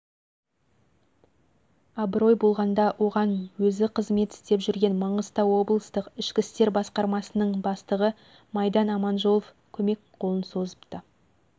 абырой болғанда оған өзі қызымет істеп жүрген маңғыстау облыстық ішкі істер басқармасының бастығы майдан аманжолов көмек қолын созыпты